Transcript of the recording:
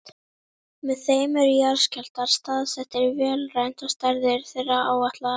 Með þeim eru jarðskjálftar staðsettir vélrænt og stærðir þeirra áætlaðar.